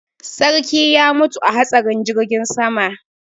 Sarki ya mutu a hatsarin jirgin sama.